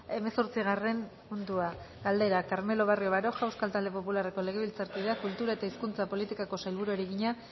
hemezortzigarren puntua galdera carmelo barrio baroja euskal talde popularreko legebiltzarkideak kultura eta hizkuntza politikako sailburuari egina